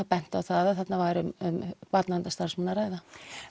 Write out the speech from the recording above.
bent á að þarna væri um barndaverndarstarfsmann að ræða